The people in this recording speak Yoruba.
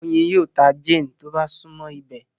Oyin yíò tá Jane tó bá sunmọ ibẹ